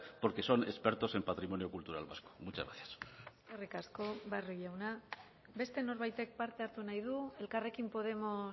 porque son expertos en patrimonio cultural vasco muchas gracias eskerrik asko barrio jauna beste norbaitek parte hartu nahi du elkarrekin podemos